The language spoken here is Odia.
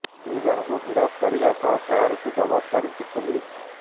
ଦୁଇ ଜଣଙ୍କୁ ଗିରଫ କରିବା ସହ କାର୍ କୁ ଜବତ କରିଛି ପୋଲିସ